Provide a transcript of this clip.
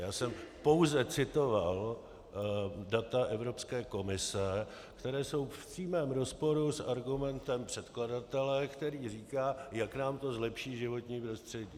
Já jsem pouze citoval data Evropské komise, která jsou v přímém rozporu s argumentem předkladatele, který říká, jak nám to zlepší životní prostředí.